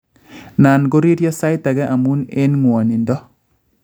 Nan ngo riryo saitage amun eng ng�wanindo